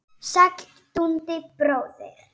Sæll Dundi bróðir!